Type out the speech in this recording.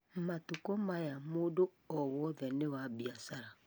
Matukũ maya mũndũ o wothe nĩ wa biacara